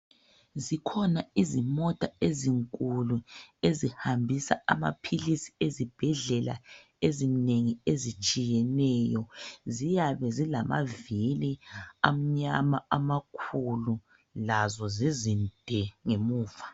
Zikhona izimota ezinkulu ezihambisa amaphilisi ezibhedlela ezinengi ezitshiyeneyo ziyabe zilamavili amnyama amakhulu lazo zizinde ngemuva.